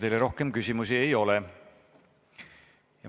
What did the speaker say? Teile rohkem küsimusi ei ole.